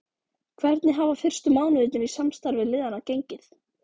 Hvernig hafa fyrstu mánuðirnir í samstarfi liðanna gengið?